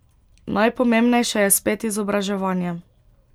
Najpomembnejše je spet izobraževanje.